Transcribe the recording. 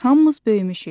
Hamımız böyümüşük.